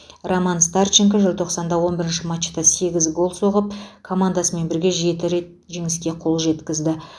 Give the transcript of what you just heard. роман старченко желтоқсанда он бірінші матчта сегіз гол соғып командасымен бірге жеті рет жеңіске қол жеткізді